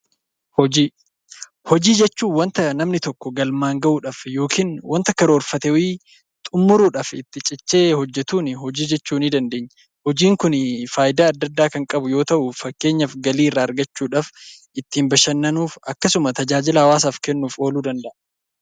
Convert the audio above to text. Hojii, hojii jechuun wanta namni tokko galmaan ga'uudhaf yookiin wanta karoorfate wayii xumuurudhaf itti cichee hojjetun hojii jechuu ni dandeenya. Hojiin kun faayida addaa, addaa kan qabu yoo ta'u fakkeenyaaf galii irraa argachuudhaf, ittin bashannanuuf, akkasuma tajaajila hawaasaf kennuf oolu danda'a.